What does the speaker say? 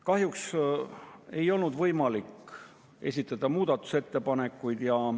Kahjuks ei olnud võimalik esitada muudatusettepanekuid.